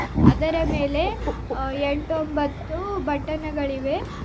ಅದರ ಮೇಲೆ ಅ ಎಂಟು ಒಂಬತ್ತು ಬಟನ್ ಗಳಿವೆ.